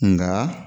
Nka